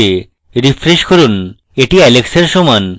refresh করুন এটি alex এর সমান